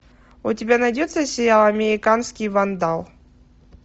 у тебя найдется сериал американский вандал